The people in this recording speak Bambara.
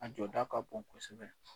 A jɔda ka bon kosɛbɛ.